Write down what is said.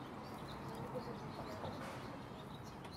ольга валерьяновна карпенко